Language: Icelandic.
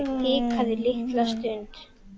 Hikaði litla stund.